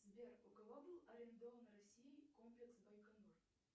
сбер у кого был арендован россией комплекс байконур